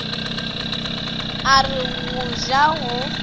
a re go ja go